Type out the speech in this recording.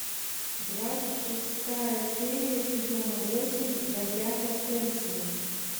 двадцать шестая серия сезона восемь бродяга кэнсин